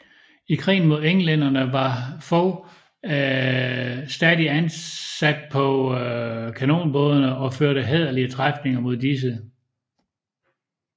I krigen mod englænderne var Fog stadig ansat på kanonbådene og førte hæderlige træfninger mod disse